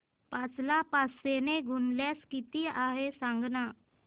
पाच ला पाचशे ने भागल्यास किती आहे सांगना